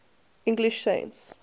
english saints